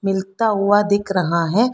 खिलता हुआ दिख रहा है।